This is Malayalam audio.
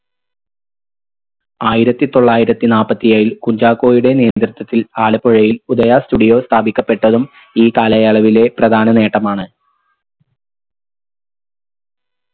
ആയിരത്തി തൊള്ളായിരത്തി നാപ്പത്തി ഏഴിൽ കുഞ്ചാക്കോയുടെ നേതൃത്വത്തിൽ ആലപ്പുഴയിൽ ഉദയ studio സ്ഥാപിക്കപ്പെട്ടതും ഈ കാലയളവിലെ പ്രധാന നേട്ടമാണ്